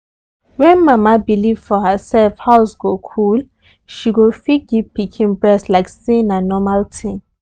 when mama believe for herself house go cool. she go fit give pikin breast like say na normal tin